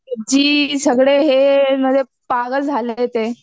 जी सगळे हे म्हणजे पागल झाले ते.